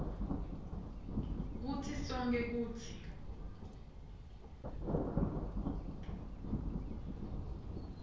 kitsi sonkhe kutsi